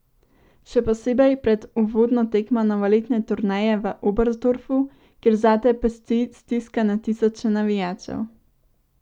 Še posebej pred uvodno tekmo novoletne turneje v Oberstdorfu, kjer zate pesti stiska na tisoče navijačev.